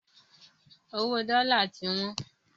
Owó dọ́la ti wọ́n